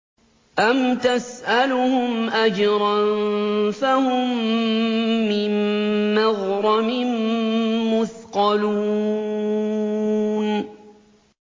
أَمْ تَسْأَلُهُمْ أَجْرًا فَهُم مِّن مَّغْرَمٍ مُّثْقَلُونَ